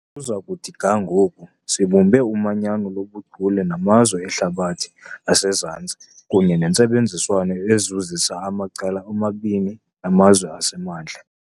uza kuthi ga ngoku, sibumbe umanyano lobuchule namazwe eHlabathi aseZantsi kunye nentsebenziswano ezuzisa amacala omabini namazwe aseMantla.